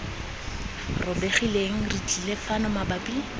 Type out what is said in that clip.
robegileng re tlile fano mabapi